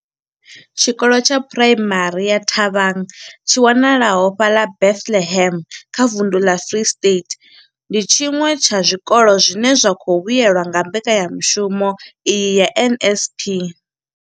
Tshikolo tsha phuraimari ya Thabang tshi wanalaho fhaḽa Bethlehem kha vunḓu ḽa Free State, ndi tshiṅwe tsha zwikolo zwine zwa khou vhuelwa nga mbekanya mushumo iyi ya NSNP.